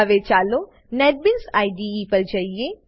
હવે ચાલો NetBeans IDE પર જઈએ